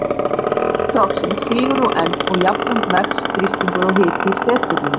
Botn trogsins sígur nú enn og jafnframt vex þrýstingur og hiti í setfyllingunni.